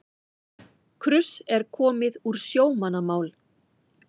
Kruss er komið úr sjómannamál.